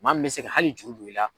Maa min mɛ se ka hali juru du i la.